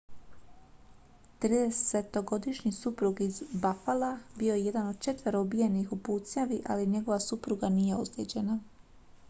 tridesetogodišnji suprug iz buffala bio je jedan od četvero ubijenih u pucnjavi ali njegova supruga nije ozlijeđena